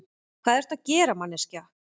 Hvað ertu að gera, manneskja?